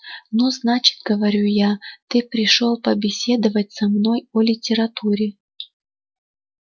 ну значит говорю я ты пришёл побеседовать со мной о литературе